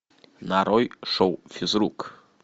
нарой шоу физрук